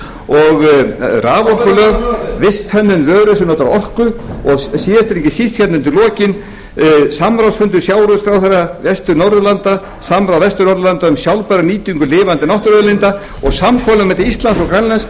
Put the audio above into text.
og raforkulög visthönnun vöru sem notar orku og síðast en ekki síst hérna undir lokin samráðsfundur sjávarútvegsráðherra vestur norðurlanda samráð vestur norðurlanda um sjálfbæra nýtingu lifandi náttúruauðlinda og samkomulag milli íslands og grænlands